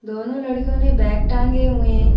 दोनों लड़कियों ने बैग टांगे हुए है ।